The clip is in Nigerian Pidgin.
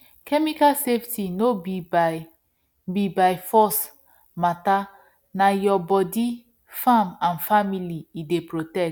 chemical safety no be by be by force matterna your body farm and family e dey protect